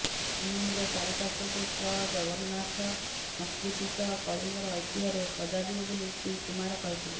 ଶ୍ରୀମନ୍ଦିର ଚାରିପାର୍ଶ୍ବକୁ ଶ୍ରଜଗନ୍ନାଥ ସଂସ୍କୃତି ସହ କଳିଙ୍ଗର ଐତିହ୍ୟରେ ସଜାଯିବ ବୋଲି ଶ୍ରୀ କୁମାର କହିଥିଲେ